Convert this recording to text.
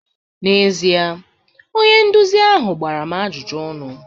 N'ezie, onye nduzi ahụ gbara m ajụjụ ọnụ